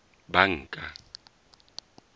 banka